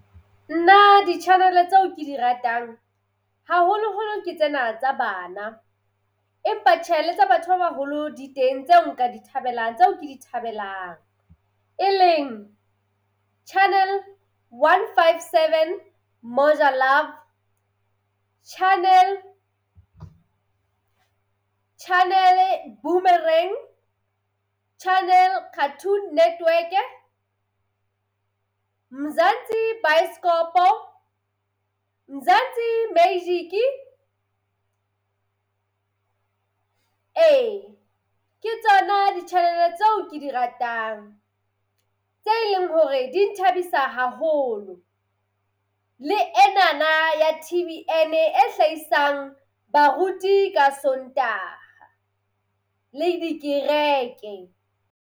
Na di-Channel tseo ke di ratang haholo holo ke tsena tsa bana Empa tjhelete batho ba baholo di teng tseo nka di thabelang, tseo ke di thabelang e leng Channel One, Five, Seven Model Love Channel Channel Channel network Mzansi Mzansi Magic e ke tsona di tjhelete tseo ke di ratang tse leng hore di thabisa haholo le enana ea Tv and a hlahisang baruti ka Sontaha le dikereke.